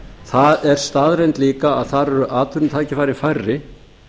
það er staðreynd líka að þar eru atvinnutækifæri færri